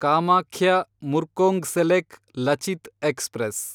Kamakhya Murkongselek Lachit express